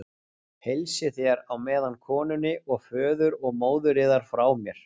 Heilsið þér á meðan konunni og föður og móðir yðar frá mér.